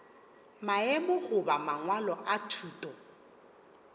maemo goba mangwalo a thuto